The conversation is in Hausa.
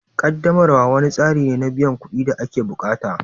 Ƙaddamarwa wani tsari ne na biyan kuɗin da ake bukata